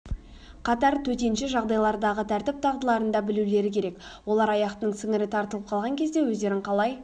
қатар төтенше жағдайлардағы тәртіп дағдыларында білулері керек олар аяқтың сіңірі тартып қалған кезде өздерін қалай